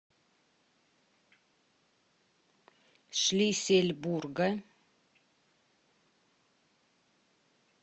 шлиссельбурга